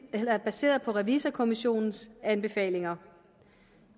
er baseret på revisorkommissionens anbefalinger